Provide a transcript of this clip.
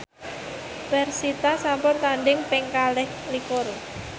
persita sampun tandhing ping kalih likur